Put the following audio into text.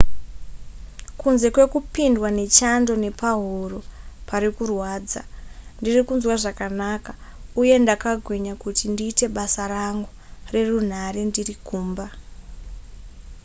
kunze kwekupindwa nechando nepahuro parikurwadza ndirikunzwa zvakanaka uye ndakagwinya kuti ndiite basa rangu nerunhare ndiri kumba